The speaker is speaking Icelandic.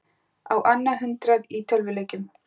Á annað hundrað í tölvuleikjum